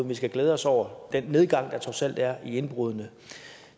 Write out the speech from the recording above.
vi skal glæde os over den nedgang der trods alt er i indbrud